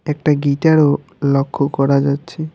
একটা গিটার -ও লক্ষ করা যাচ্ছে।